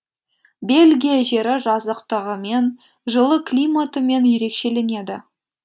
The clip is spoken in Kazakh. бельгия жері жазықтығымен жылы климатымен ерекшеленеді